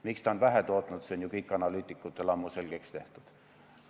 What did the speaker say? Miks on vähe tootnud, see on ju analüütikutel ammu selgeks tehtud.